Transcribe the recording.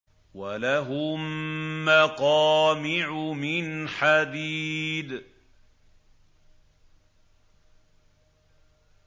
وَلَهُم مَّقَامِعُ مِنْ حَدِيدٍ